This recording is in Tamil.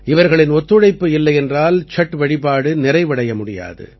இவர்களின் ஒத்துழைப்பு இல்லையென்றால் சட் வழிபாடு நிறைவடைய முடியாது